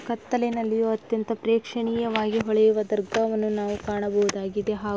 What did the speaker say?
ಕತ್ತಲಿನಲ್ಲಿಯೂ ಅತ್ಯಂತ ಪ್ರೇಕ್ಷಣೀಯವಾಗಿ ಹೊಳೆಯುವಂತಹ ದರ್ಗವನ್ನು ನಾವು ಕಾಣಬಹುದಾಗಿದೆ ಹಾಗು --